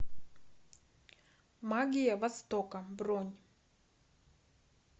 магия востока бронь